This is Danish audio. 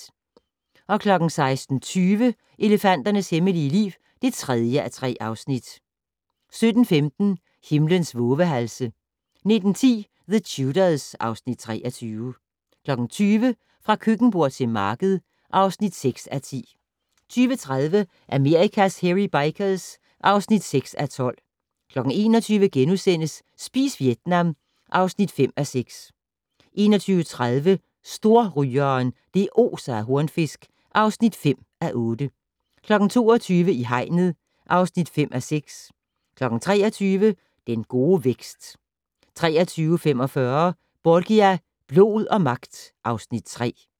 16:20: Elefanternes hemmelige liv (3:3) 17:15: Himlens vovehalse 19:10: The Tudors (Afs. 23) 20:00: Fra køkkenbord til marked (6:10) 20:30: Amerikas Hairy Bikers (6:12) 21:00: Spis Vietnam (5:6)* 21:30: Storrygeren - det oser af hornfisk (5:8) 22:00: I hegnet (5:6) 23:00: Den gode vækst 23:45: Borgia - blod og magt (Afs. 3)